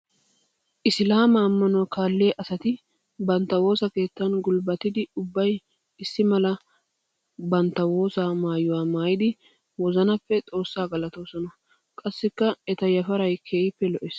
Isillaama amanuwa kaaliya asati bantta woosa keettan gulbbatiddi ubbay issi mala bantta woossaa maayuwa maayidi wozanappe Xoosaa galattoosona. Qassikk eta yafaray keehippe lo'ees.